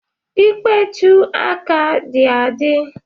Ikpechu aka dị adị?